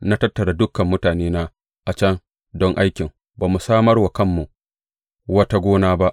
Na tattara dukan mutanena a can don aikin; ba mu samar wa kanmu wata gona ba.